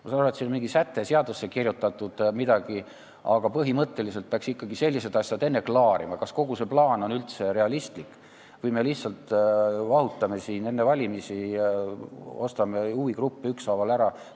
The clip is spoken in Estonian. Ma saan aru, et siin on mingi säte seadusse kirjutatud, aga põhimõtteliselt peaks ikkagi sellised asjad enne ära klaarima, kas kogu see plaan on üldse realistlik või me lihtsalt vahutame siin enne valimisi ja ostame huvigruppe ükshaaval ära.